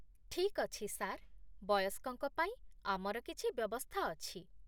ଠିକ୍ ଅଛି, ସାର୍। ବୟସ୍କଙ୍କ ପାଇଁ ଆମର କିଛି ବ୍ୟବସ୍ଥା ଅଛି।